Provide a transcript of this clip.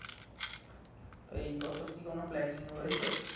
তো এই বছর কি কোনো planning রয়েছে